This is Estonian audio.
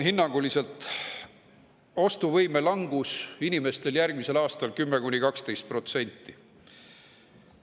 Inimeste ostuvõime langus on järgmisel aastal hinnanguliselt 10–12%.